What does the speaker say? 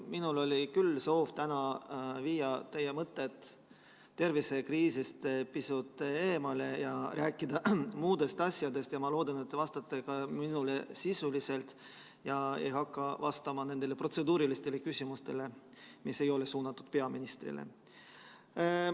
Minul oli küll soov täna viia teie mõtted tervisekriisist pisut eemale ja rääkida muudest asjadest ja ma loodan, et te vastate minule sisuliselt ega hakka vastama nendele protseduurilistele küsimustele, mis ei ole suunatud peaministrile.